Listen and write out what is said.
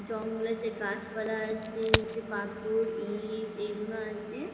জঙ্গলে যে গাছপালা আছে নিচে পাথর ইট এগুলো আছে।